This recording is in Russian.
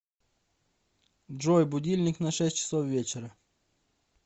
джой будильник на шесть часов вечера